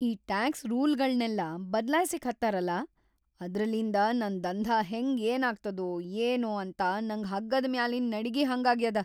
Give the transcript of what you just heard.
ಈ ಟ್ಯಾಕ್ಸ್‌ ರೂಲ್ಗಳ್ನೆಲ್ಲಾ ಬದ್ಲಾಯ್ಸ್ಲಿಕ್ ಹತ್ತಾರಲಾ, ಅದ್ರಲಿಂದ ನನ್‌ ದಂಧಾ ಹೆಂಗ್ ಏನಾಗ್ತದೋ ಏನೋ ಅಂತ ನಂಗ ಹಗ್ಗದ್ ಮ್ಯಾಲಿನ್‌ ನಡಿಗಿ ಹಂಗಾಗ್ಯದ.